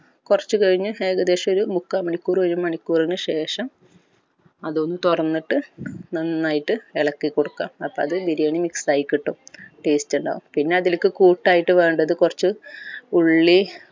കൊർച്ച് കഴിഞ്ഞ് ഏകദേശം ഒരു മുക്കാമണിക്കൂർ ഒരു മണിക്കൂറിന് ശേഷം അത് ഒന്ന് തോർന്നിട്ട് നന്നായിട്ട് എളക്കിക്കൊടുക്ക അപ്പൊ അത് ബിരിയാണി mix ആയി കിട്ടും taste ഇണ്ടാവും പിന്നെ അതിലേക് കൂട്ടായിട്ട് വേണ്ടത് കൊർച്ച് ഉള്ളി